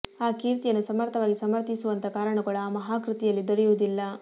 ಆ ಕೀರ್ತಿಯನ್ನು ಸಮರ್ಥವಾಗಿ ಸಮರ್ಥಿಸುವಂಥ ಕಾರಣಗಳು ಆ ಮಹಾ ಕೃತಿಯಲ್ಲಿ ದೊರೆಯುವುದಿಲ್ಲ